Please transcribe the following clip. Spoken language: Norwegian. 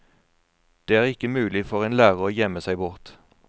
Det er ikke mulig for en lærer å gjemme seg bort.